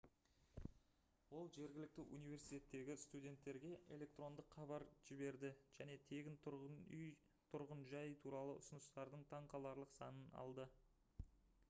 ол жергілікті университеттегі студенттерге электрондық хабар жіберді және тегін тұрғын жай туралы ұсыныстардың таңқаларлық санын алды